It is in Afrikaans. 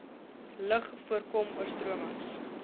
lug voorkom oorstromings